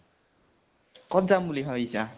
কত যাম বুলি ভাবিছা?